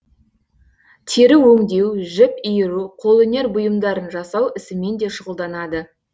тері өңдеу жіп иіру қолөнер бұйымдарын жасау ісімен де шұғылданады